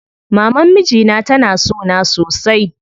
Maman mijina tana sona sosai.